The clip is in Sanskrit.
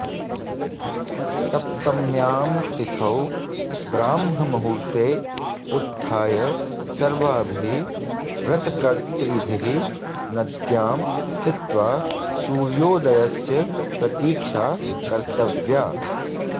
सप्तम्यां तिथौ ब्राह्ममुहूर्ते उत्थाय सर्वाभिः व्रतकर्त्रीभिः नद्यां स्थित्वा सूर्योदयस्य प्रतीक्षा कर्तव्या